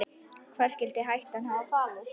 Hvar skyldi hættan hafa falist?